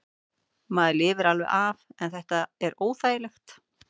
Maður lifir alveg af en þetta er óþægilegt.